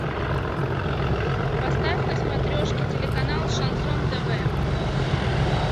поставь на смотрешке телеканал шансон тв